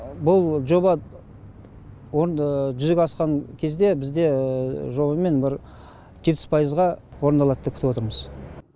бұл жоба жүзеге асқан кезде бізде жобамен бір жетпіс пайызға орындалады деп күтіп отырмыз